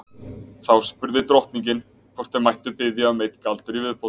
Þá spurði drottningin hvort þau mættu biðja um einn galdur í viðbót.